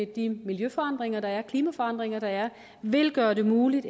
de miljøforandringer der er med de klimaforandringer der er og vil gøre det muligt